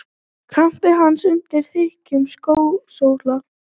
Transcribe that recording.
Kramdi hana undir þykkum skósóla.